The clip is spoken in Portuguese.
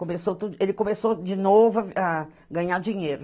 Começou tudo, ele começou de novo a a ganhar dinheiro.